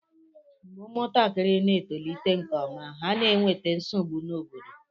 mgbe ụmụntakịrị na-etoliteghị nke ọma, ha na-enweta nsogbu n'obodo